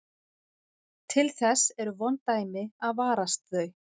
Til þess eru vond dæmi að varast þau.